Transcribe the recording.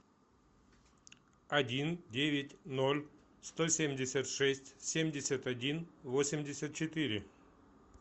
один девять ноль сто семьдесят шесть семьдесят один восемьдесят четыре